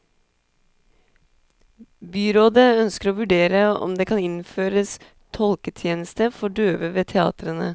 Byrådet ønsker å vurdere om det kan innføres tolketjeneste for døve ved teatrene.